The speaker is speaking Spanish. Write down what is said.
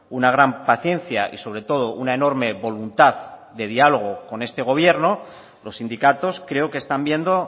una gran paciencia y sobre todo una enorme voluntad de diálogo con este gobierno los sindicatos creo que están viendo